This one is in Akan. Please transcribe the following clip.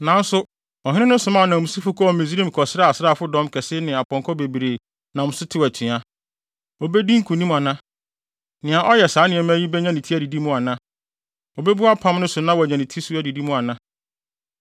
Nanso ɔhene no somaa ananmusifo kɔɔ Misraim kɔsrɛɛ asraafo dɔm kɛse ne apɔnkɔ bebree nam so tew atua. Obedi nkonim ana? Nea ɔyɛ saa nneɛma yi benya ne ti adidi mu ana? Obebu apam no so na wanya ne ti nso adidi mu ana?